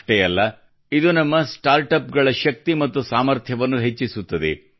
ಅಷ್ಟೇ ಅಲ್ಲ ಇದು ನಮ್ಮ ಸ್ಟಾರ್ಟ್ಅಪ್ಗಳ ಶಕ್ತಿ ಮತ್ತು ಸಾಮರ್ಥ್ಯವನ್ನು ಹೆಚ್ಚಿಸುತ್ತದೆ